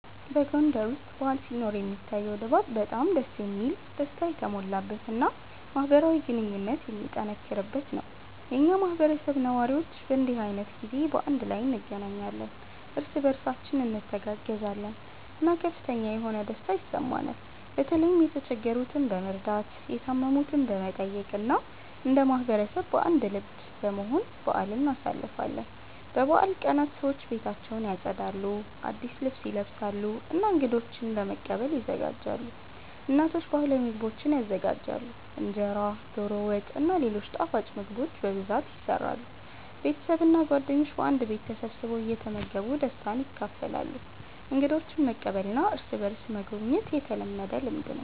በጎንደር ውስጥ በዓል ሲኖር የሚታየው ድባብ በጣም ደስ የሚል፣ ደስታ የተሞላበት እና ማህበራዊ ግንኙነት የሚጠነክርበት ነው። የኛ ማህበረሰብ ነዋሪዎች በእንዲህ ዓይነት ጊዜ በአንድ ላይ እንገናኛለን፣ እርስ በእርሳችን እንተጋገዛለን እና ከፍተኛ የሆነ ደስታ ይሰማናል። በተለይም የተቸገሩትን በመርዳት፣ የታመሙትን በመጠየቅ እና እንደ ማህበረሰብ በአንድ ልብ በመሆን በአልን እናሳልፋለን። በበዓል ቀናት ሰዎች ቤታቸውን ያጸዳሉ፣ አዲስ ልብስ ይለብሳሉ እና እንገዶችን ለመቀበል ይዘጋጃሉ። እናቶች ባህላዊ ምግቦችን ይዘጋጃሉ፣ እንጀራ፣ ዶሮ ወጥ እና ሌሎች ጣፋጭ ምግቦች በብዛት ይሰራሉ። ቤተሰብ እና ጓደኞች በአንድ ቤት ተሰብስበው እየተመገቡ ደስታን ያካፍላሉ። እንግዶችን መቀበልና እርስ በእርስ መጎብኘት የተለመደ ልምድ ነው።